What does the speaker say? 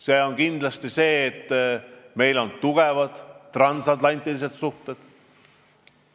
See on kindlasti see, et meil on tugevad transatlantilised suhted.